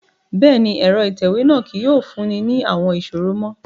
Bẹ́ẹ̀ni, ẹrọ itẹwe náa kii yóò funni ni awọn iṣoro mo